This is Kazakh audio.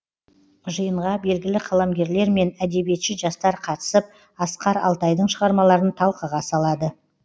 жиынға белгілі қаламгерлер мен әдебиетші жастар қатысып асқар алтайдың шығармаларын талқыға салады